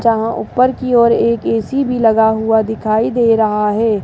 जहां ऊपर की ओर एक ए_सी भी लगा हुआ दिखाई दे रहा है।